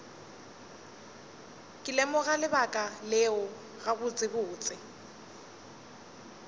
ke lemoga lebaka leo gabotsebotse